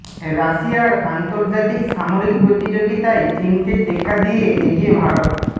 রাশিয়ার আন্তর্জাতিক সামরিক প্রতিযোগিতায় চিনকে টেক্কা দিয়ে এগিয়ে ভারত